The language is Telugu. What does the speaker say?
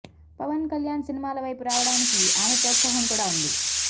పవన్ కళ్యాణ్ సినిమాల వైపు రావడానికి ఆమె ప్రోత్సాహం కూడా ఉంది